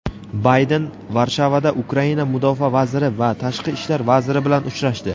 Bayden Varshavada Ukraina Mudofaa vaziri va Tashqi ishlar vaziri bilan uchrashdi.